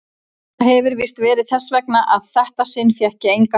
Það hefir víst verið þess vegna að þetta sinn fékk ég enga fylgd.